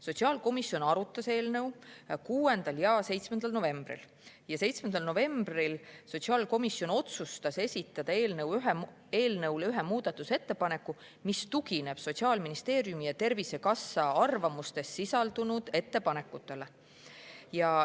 Sotsiaalkomisjon arutas eelnõu 6. ja 7. novembril ning 7. novembril otsustas esitada eelnõu kohta ühe muudatusettepaneku, mis tugineb Sotsiaalministeeriumi ja Tervisekassa arvamuses sisaldunud ettepanekutele.